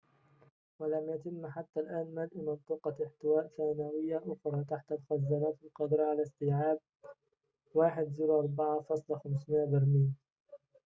ولم يتم حتّى الآن ملء منطقة احتواء ثانويّة أخرى تحت الخزانات القادرة على استيعاب 104,500 برميلٍ